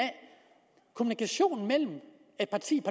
kommunikationen mellem et parti